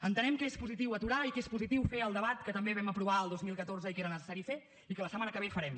entenem que és positiu aturar i que és positiu fer el debat que també vam aprovar el dos mil catorze i que era necessari fer i que la setmana que ve farem